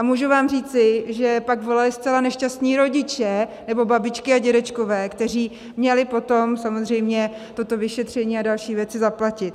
A můžu vám říci, že pak volali zcela nešťastní rodiče nebo babičky a dědečkové, kteří měli potom samozřejmě toto vyšetření a další věci zaplatit.